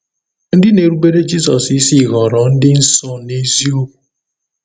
Ndị na-erubere Jizọs isi ghọrọ ndị nsọ n’eziokwu.